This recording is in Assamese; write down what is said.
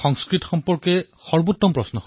বহুত্তমম বহুত্তমম